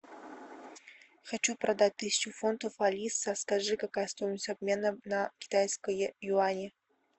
хочу продать тысячу фунтов алиса скажи какая стоимость обмена на китайские юани